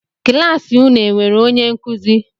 Kịlasị unu e enwere onye nkuzi?